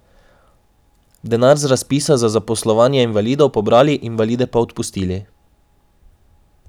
Denar z razpisa za zaposlovanje invalidov pobrali, invalide pa odpustili.